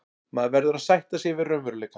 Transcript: Maður verður að sætta sig við raunveruleikann.